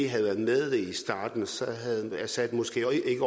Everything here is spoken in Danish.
havde været med i starten havde assad måske ikke